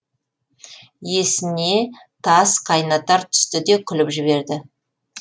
есіне тас қайнатар түсті де күліп жіберді